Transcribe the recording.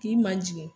K'i ma jigin